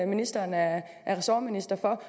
ministeren er ressortminister for